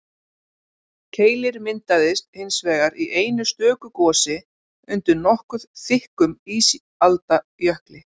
Keilir myndaðist hins vegar í einu stöku gosi undir nokkuð þykkum ísaldarjökli.